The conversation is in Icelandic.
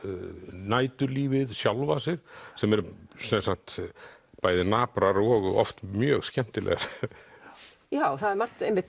næturlífið sjálfa sig sem eru sem sagt bæði naprar og oft mjög skemmtilegar já það er margt einmitt